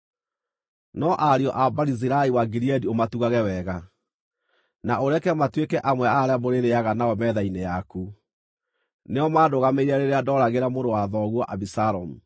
“No ariũ a Barizilai wa Gileadi ũmatugage wega, na ũreke matuĩke amwe a arĩa mũrĩrĩĩaga nao metha-inĩ yaku. Nĩo mandũgamĩrĩire rĩrĩa ndooragĩra mũrũ wa thoguo Abisalomu.